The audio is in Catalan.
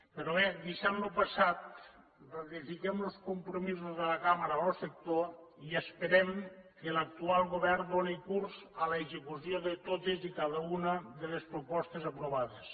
però bé deixant lo passat ratifiquem los compromisos de la cambra amb lo sector i esperem que l’actual govern doni curs a l’execució de totes i cada una de les propostes aprovades